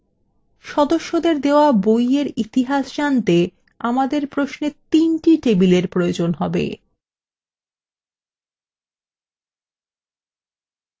সদস্যদের দেওয়া বইয়ের ইতিহাস জানতে আমাদের প্রশ্নে তিনটি টেবিলের প্রয়োজন হবে